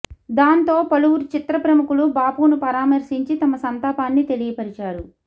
దాంతో పలువురు చిత్ర ప్రముఖులు బాపును పరామర్శించి తమ సంతాపాన్ని తెలియపరిచారు